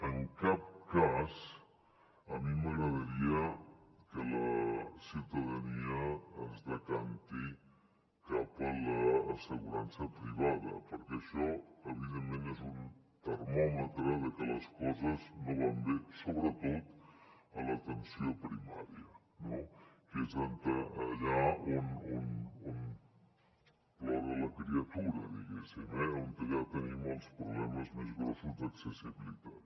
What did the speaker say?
en cap cas a mi m’agradaria que la ciutadania es decanti cap a l’assegurança privada perquè això evidentment és un termòmetre de que les coses no van bé sobretot a l’atenció primària no que és d’allà on plora la criatura diguéssim eh on ja tenim els problemes més grossos d’accessibilitat